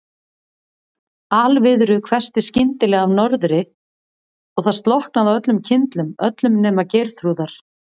Alviðru hvessti skyndilega af norðri og það slokknaði á öllum kyndlum, öllum nema Geirþrúðar.